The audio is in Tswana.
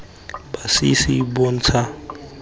masisi bontsha bokgoni jo bo